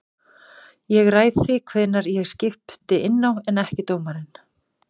Ég ræð því hvenær ég skipti inná en ekki dómarinn.